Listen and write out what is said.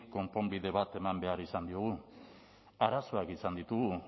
konponbide bat eman behar izan diogu arazoak izan ditugu